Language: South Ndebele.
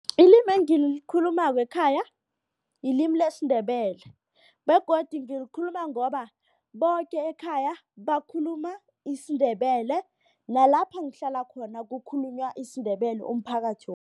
Ilimi engilikhulumako ekhaya ilimi lesiNdebele begodu ngikhuluma ngoba boke ekhaya bakhuluma isiNdebele nalapha ngihlala khona kukhulunywa isiNdebele umphakathi